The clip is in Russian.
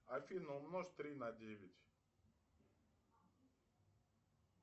афина умножь три на девять